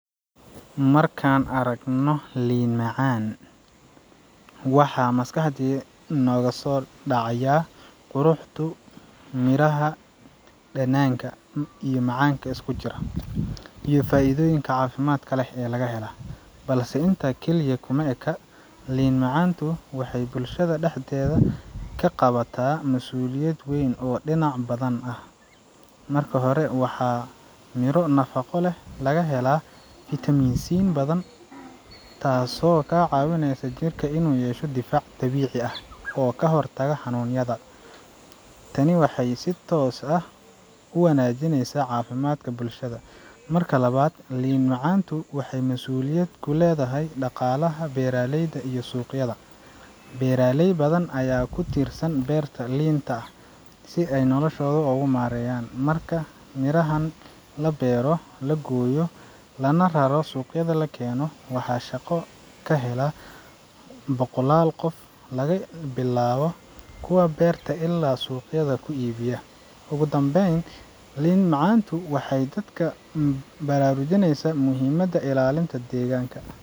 Markaan aragno liin macaan, waxaa maskaxdiya nooga soo dhacaya quruxdu midhaha, dhadhanka macaan, iyo faa’iidada caafimaad. Balse intaas kaliya kuma eka liin macantu waxay bulshada dhexdeeda ka qabataa masuuliyad weyn oo dhinac badan ah. Marka hore, waxaa midho nafaqo leh laga helaa fiitamiin C badan, taasoo kaa caawinaysa jirka inuu yeesho difaac dabiici ah oo ka hortaga xanuunyada. Tani waxay si toos ah u wanajineysaa caafimaadka bulshada. Marka labaad, liin macaantu waxay mas’uuliyad ku leedahay dhaqaalaha beeraleyda iyo suuqyada. Beeraley badan ayaa ku tiirsan beerta liinta si ay noloshooda ogu maareeyaan. Marka midhahan la beero, la gooyo, lana rarro suuqyada la keeno, waxaa shaqo ka hela boqolaal qof laga bilaabo kuwa beerta ilaa suuqyada ku iibiya. Ugu dambeyn, liinta macaantu waxay dadka baraarujinaysaa muhiimadda ilaalinta deegaanka.